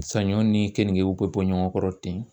Saɲɔ ni kenige be bɔ ɲɔgɔn kɔrɔ ten